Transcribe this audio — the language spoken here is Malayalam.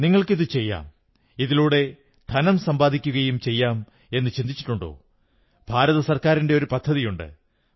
നിങ്ങൾക്കും ഇതു ചെയ്യാം ഇതിലൂടെ ധനം സമ്പാദിക്കുകയും ചെയ്യാമെന്നു ചിന്തിച്ചിട്ടുണ്ടോ ഭാരത സർക്കാരിന്റെ ഒരു പദ്ധതിയുണ്ട്